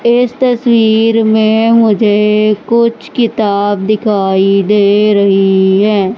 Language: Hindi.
इस तस्वीर में मुझे कुछ किताब दिखाई दे रही है।